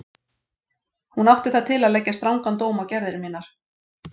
Hún átti það til að leggja strangan dóm á gerðir mínar.